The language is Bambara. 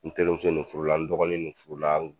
Ntelimuso nin furula n dɔgɔnin nin furula